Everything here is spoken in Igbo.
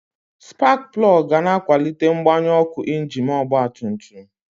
Spak plọg ga na akwalite mgbanyụ ọkụ injin ọgba tum tum.